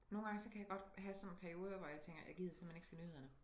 Nogle gange så kan jeg godt have sådan perioder hvor jeg tænker jeg gider simpelthen ikke se nyhederne